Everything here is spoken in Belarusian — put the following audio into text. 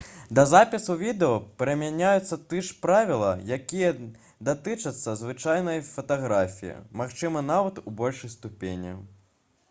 да запісу відэа прымяняюцца тыя ж правілы якія датычацца звычайнай фатаграфіі магчыма нават у большай ступені